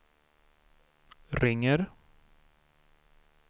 ringer